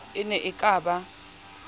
e ne e ka ba